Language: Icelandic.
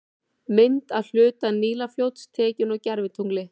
Mynd af hluta Nílarfljóts, tekin úr gervitungli.